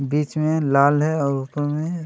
बीच में लाल है और ऊपर मे--